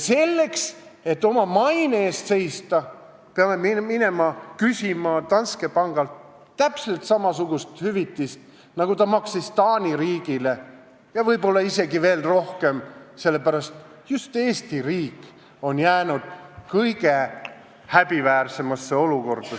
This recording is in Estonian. Selleks, et oma maine eest seista, peame küsima Danske pangalt täpselt samasugust hüvitist, nagu ta maksis Taani riigile, ja võib-olla isegi veel rohkem, sest just Eesti riik on jäänud selles loos kõige häbiväärsemasse olukorda.